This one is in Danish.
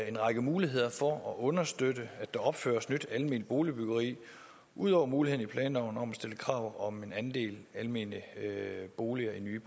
en række muligheder for at understøtte at der opføres nyt alment boligbyggeri ud over muligheden i planloven om at stille krav om en andel almene boliger i nye